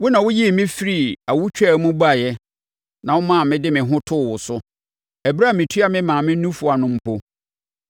Wo na woyii me firii awotwaa mu baeɛ na womaa mede me ho too wo so ɛberɛ a metua me maame nufoɔ ano mpo.